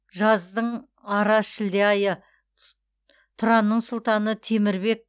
жаздың ара шілде айы тұранның сұлтаны темір бек